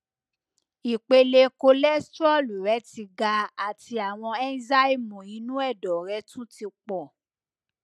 ìpele kolestrol rẹ ti ga àti àwọn ẹńzyáìmù inú ẹdọ rẹ tún ti pọ